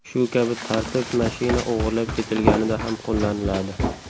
Shu kabi tartib mashina o‘g‘irlab ketilganida ham qo‘llaniladi.